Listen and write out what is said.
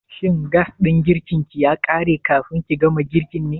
Shin gas ɗin girkin ya ƙare kafin ki gama girkin ne?